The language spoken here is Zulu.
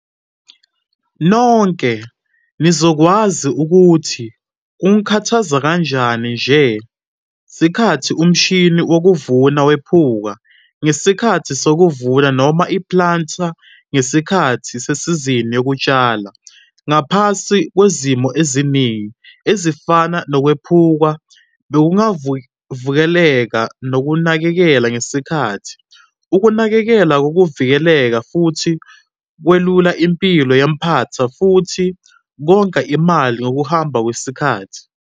Nonke nizokwazi ukuthi kungakhathaza kanjani ngesikhathi umshini wokuvuna wephuka ngesikhathi sokuvuna noma i-planter ngesikhathi sesizini yokutshala. Ngaphansi kwezimo eziningi, ezifana nokwephuka bekungavikeleka ngokunakekela ngesikhathi. Ukunakekela kokuvikela futhi kwelula impilo yempahla futhi konga imali ngokuhamba kwesikhathi.